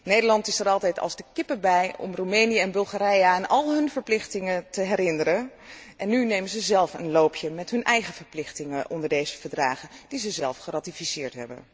Nederland is er altijd als de kippen bij om Roemenië en Bulgarije aan al hun verplichtingen te herinneren, en nu nemen ze een loopje met hun eigen verplichtingen onder deze verdragen die ze zelf hebben geratificeerd.